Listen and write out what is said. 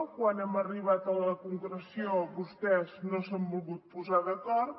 quan hem arribat a la concreció vostès no s’han volgut posar d’acord